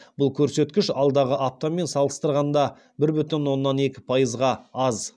бұл көрсеткіш алдыңғы аптамен салыстырғанда бір бүтін оннан екі пайызға аз